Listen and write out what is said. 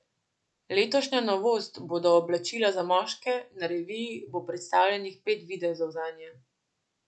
Letošnja novost bodo oblačila za moške, na reviji bo predstavljenih pet videzov zanje.